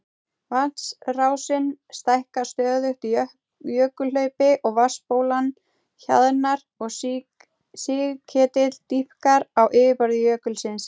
Vatnsrásin stækkar stöðugt í jökulhlaupi og vatnsbólan hjaðnar og sigketill dýpkar á yfirborði jökulsins.